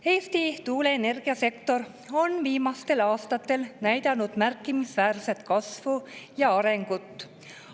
Eesti tuuleenergiasektor on viimastel aastatel näidanud märkimisväärset kasvu ja arengut.